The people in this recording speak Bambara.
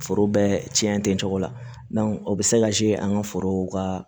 Foro bɛɛ cɛn ten cogo la o bɛ se an ka forow ka